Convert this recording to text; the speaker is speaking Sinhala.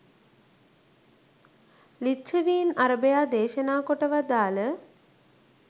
ලිච්ඡවීන් අරභයා දේශනා කොට වදාළ